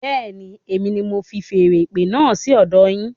Bẹẹni, èmi ní mo fi feèrè ìpè náà sí ọdọ yín